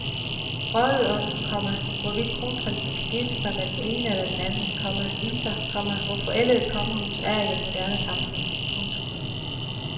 Vrøvlet om, komma hvorvidt kronprinsen kan gifte sig med den ene eller den anden, komma viser, komma hvor forældet et kongehus er i et moderne samfund. punktum